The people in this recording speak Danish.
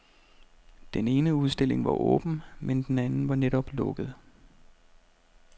Den ene udstilling var åben, men den anden var netop lukket.